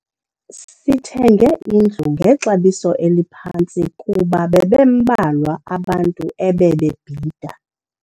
Sithenge indlu ngexabiso eliphantsi kuba bebembalwa abantu ebebebhida.